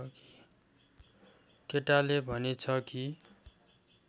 केटाले भनेछ कि